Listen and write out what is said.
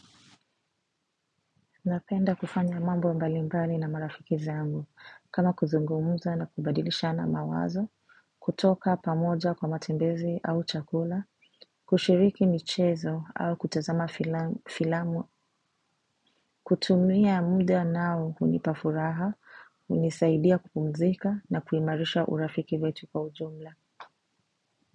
Napenda kufanya mambo mbalimbali na marafiki zangu, kama kuzungumuza na kubadilishana mawazo, kutoka pamoja kwa matembezi au chakula, kushiriki michezo au kutazama filamu, kutumia muda nao hunipa furaha, hunisaidia kupumzika na kuimarisha urafiki wetu kwa ujumla.